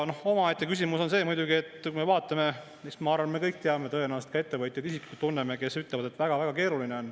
Omaette küsimus on see, et kui me vaatame, siis ma arvan, me kõik teame, tõenäoliselt ka isiklikult tunneme ettevõtjaid, kes ütlevad, et väga keeruline on.